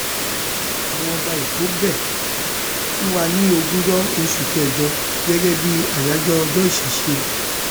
àwọn ọba ẹkọ bẹ ẹ fún wa ní ogúnjọ oṣù kẹjọ gẹgẹ bíi àyájọ ọjọ ìṣẹṣẹ